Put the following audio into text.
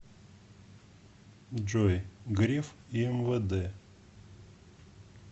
джой греф и мвд